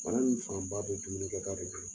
Bana in fanba bɛ dumuni kɛ ta de kan.